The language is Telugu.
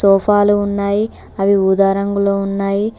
సోఫాలు ఉన్నాయి అవి ఊదా రంగులో ఉన్నాయి.